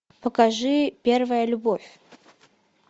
покажи первая любовь